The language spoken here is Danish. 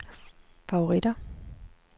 favoritter